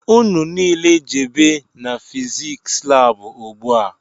Ụnụ niile jebe n'fiziks lab ugbua!!